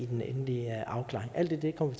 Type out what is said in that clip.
den endelige afklaring alt det kommer